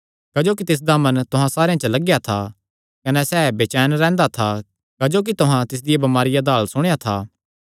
क्जोकि तिसदा मन तुहां सारेयां च लगेया था कने सैह़ बचैन रैंह्दा था क्जोकि तुहां तिसदिया बमारिया दा हाल सुणेया था